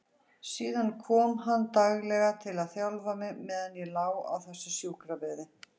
Síðan kom hann daglega til að þjálfa mig meðan ég lá á þessum sjúkrabeði.